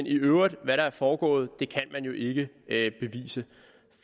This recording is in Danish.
i øvrigt er er foregået kan man jo ikke ikke bevise